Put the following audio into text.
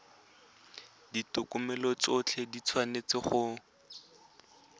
ditokomane tsotlhe di tshwanetse go